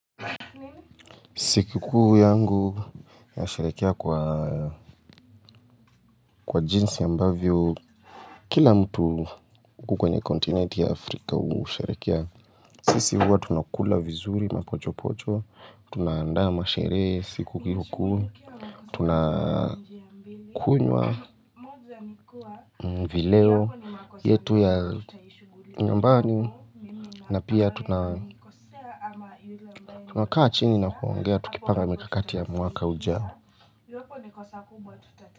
Sikikuu yangu nasharehekea kwa kwa jinsi ambavyo kila mtu huku kwenye kontinenti ya Afrika husherehekea sisi huwa tunakula vizuri mapocho pocho, tunaandaa masherehe siku hiyo kuu, tunakunywa vileo yetu ya nyumbani na pia tunakaa chini na kuongea tukipanga mikakati ya mwaka ujao.